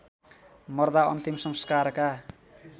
मर्दा अन्तिम संस्कारका